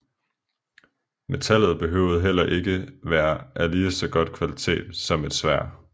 Metallet behøvede heller ikke være af lige så godt kvalitet som et sværd